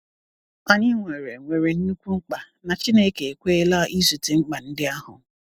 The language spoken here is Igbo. Anyị nwere nwere nnukwu mkpa, na Chineke ekweela izute mkpa ndị ahụ.